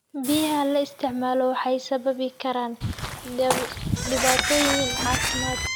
Biyaha la isticmaalo waxay sababi karaan dhibaatooyin caafimaad.